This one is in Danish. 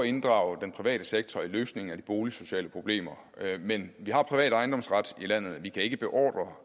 inddrage den private sektor i løsningen af de boligsociale problemer men vi har privat ejendomsret i landet og vi kan ikke beordre